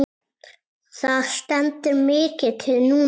Það stendur mikið til núna.